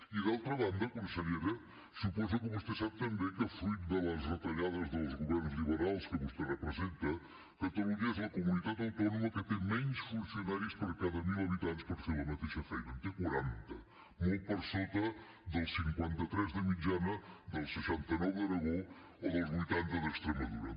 i d’altra banda consellera suposo que vostè sap també que fruit de les retallades dels governs liberals que vostè representa catalunya és la comunitat autònoma que té menys funcionaris per cada mil habitants per fer la mateixa feina en té quaranta molt per sota dels cinquanta tres de mitjana dels seixanta nou d’aragó o dels vuitanta d’extremadura